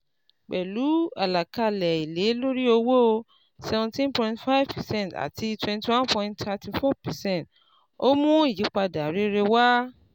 Pẹ̀lú àlàkalẹ̀ èlé lórí owó cs] seventeen point five percent àti twenty one point thirty four percent ó mú ìyípadà rere wá.